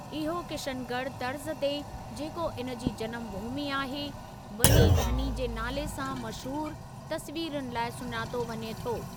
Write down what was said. इहो किशनॻढ़ तर्ज़ ते जेको इन जी जनमु भूमी आहे, बनी ठनी जे नाले सां मशहूरु तसवीरुनि लाइ सुञातो वञे थो।